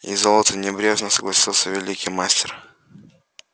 и золото небрежно согласился великий мастер